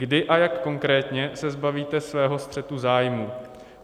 Kdy a jak konkrétně se zbavíte svého střetu zájmů?